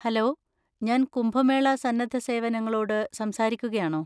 Hello, ഞാൻ കുംഭമേള സന്നദ്ധ സേവനങ്ങളോട് സംസാരിക്കുകയാണോ?